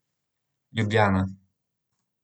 Ljubljana.